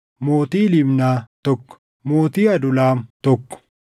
mootii Libnaa, tokko mootii Adulaam, tokko